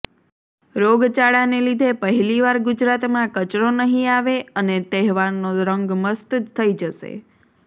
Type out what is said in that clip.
રોગચાળાને લીધે પહેલીવાર ગુજરાતમાં કચરો નહીં આવે અને તહેવારનો રંગ મસ્ત થઈ જશે